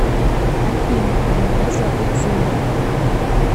афина а меня зовут зуля